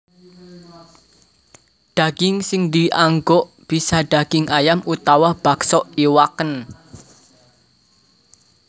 Daging sing dianggo bisa daging ayam utawa bakso iwakn